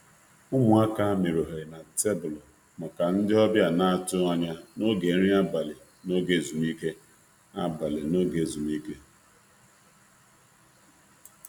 Ụmụaka mere ohere na tebụlu maka ndị ọbịa na-atụghị anya n'oge nri abalị n'oge ezumike.